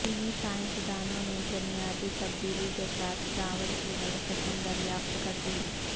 چینی سائنس دانوں نے جنیاتی تبدیلی کے ساتھ چاول کی نئی قسم دریافت کر دی